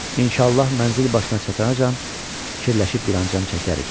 İnşallah mənzil başına çatacağam, fikirləşib bir anlam çəkərik.